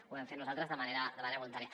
ho vam fer nosaltres de manera voluntària